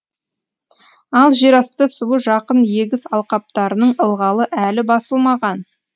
ал жерасты суы жақын егіс алқаптарының ылғалы әлі басылмаған